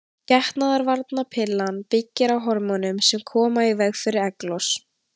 Getnaðarvarnarpillan byggir á hormónum sem koma í veg fyrir egglos.